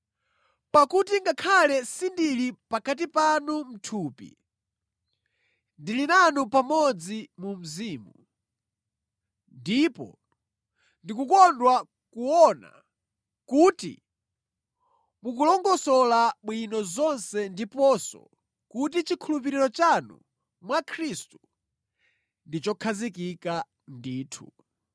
Pakuti ngakhale sindili pakati panu mʼthupi, ndili nanu pamodzi mu mzimu, ndipo ndikukondwa kuona kuti mukulongosola bwino zonse ndiponso kuti chikhulupiriro chanu mwa Khristu ndi chokhazikika ndithu.